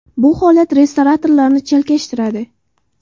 Bu holat restoratorlarni chalkashtiradi.